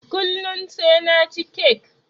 Kullun sai naci kek